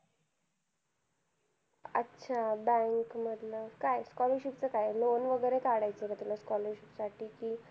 अच्छा Bank मधल काय Scholarship च काय loan वगेरे काढायचा आहे का तुला scholarship साठी कि